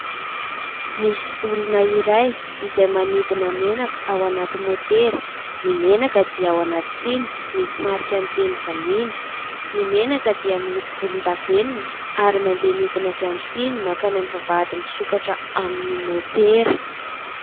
Misy olona iray izay mampidina menaka ao anaty motera. Ny menaka dia ao anaty siny misy marika ny teny vahiny. Ny menaka dia miloko volondavenina ary mandeha midina avy amin'ny siny makany amin'ny vavahady misokatra amin'ny motera.